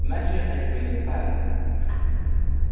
иначе они бы не стали